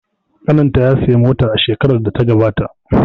Ƙanin ta ya siya mota a shekarar da ta gabata.